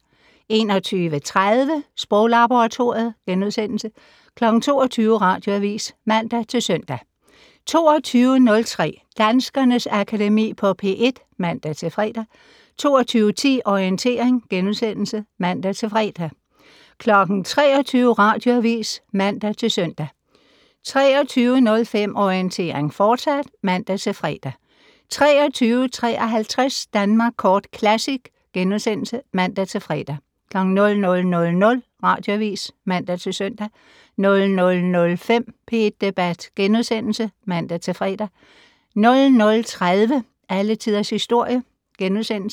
21:30: Sproglaboratoriet * 22:00: Radioavis (man-søn) 22:03: Danskernes Akademi på P1 (man-fre) 22:10: Orientering *(man-fre) 23:00: Radioavis (man-søn) 23:05: Orientering, fortsat (man-fre) 23:53: Danmark Kort Classic *(man-fre) 00:00: Radioavis (man-søn) 00:05: P1 Debat *(man-fre) 00:30: Alle Tiders Historie *